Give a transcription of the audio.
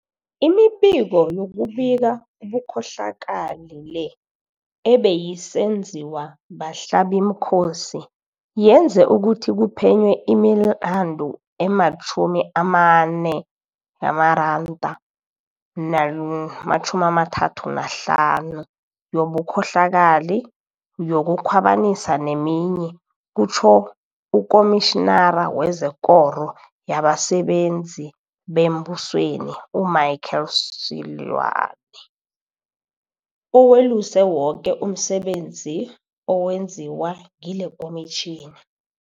Imibiko yokubika ubukho hlakali le, ebeyisenziwa bahlabimkhosi, yenze ukuthi kuphenywe imilandu ema-24 035 yobukhohlakali, yoku khwabanisa neminye, kutjho uKomitjhinara wezeKoro yabaSebenzi bemBusweni u-Michael Seloane, oweluse woke umsebenzi owenziwa ngilekomitjhini.